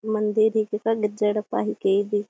मंदिर रेई तेकर गिरजा येड्पा हिके ।